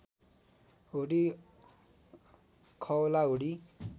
hoodie खओला hoodie